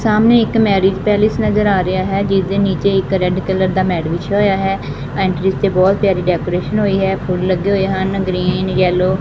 ਸਾਹਮਣੇ ਇੱਕ marriage palace ਨਜ਼ਰ ਆ ਰਿਹਾ ਹੈ ਜਿਸ ਦੇ ਨੀਚੇ ਇੱਕ ਰੈਡ ਕਲਰ ਦਾ ਮੇਟ ਵਿਛਯਾ ਹੋਇਆ ਹੈ ਐਂਟਰੀ ਤੇ ਬਹੁਤ ਪਿਆਰੀ ਡੈਕੋਰੇਸ਼ਨ ਹੋਈ ਹੈ ਫੁੱਲ ਲੱਗੇ ਹੋਏ ਹਨ ਗਰੀਨ ਯੈਲੋ ।